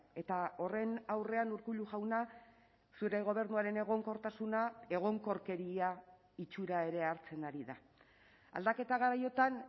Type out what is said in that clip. eta horren aurrean urkullu jauna zure gobernuaren egonkortasuna egonkorkeria itxura ere hartzen ari da aldaketa garaiotan